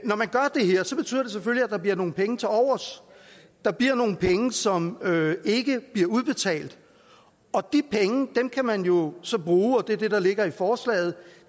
der bliver nogle penge til overs der bliver nogle penge som ikke bliver udbetalt og de penge kan man jo så bruge og det er det der ligger i forslaget